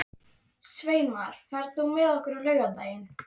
Sveinmar, ferð þú með okkur á laugardaginn?